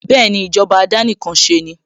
Bẹ́ẹ̀ni, ìjọba àdánìkanṣeni